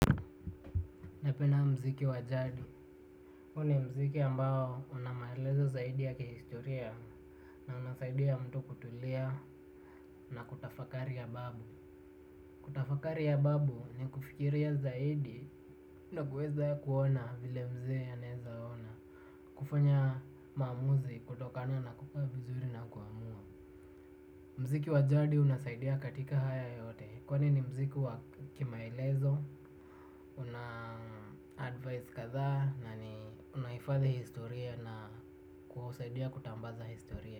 Napenda muziki wa jadi. Huo ni muziki ambao una maelezo zaidi ya kihistoria na unasaidia mtu kutulia na kutafakari ya babu. Kutafakari ya babu ni kufikiria zaidi na kuweza kuona vile mzee anaweza ona. Kufanya maamuzi kutokana na kukaa vizuri na kuamua. Muziki wa jadi unasaidia katika haya yote kwa ni muziki wa kimaelezo. Una advise kadaa na ni unahifadhi historia na kuusaidia kutambaza historia.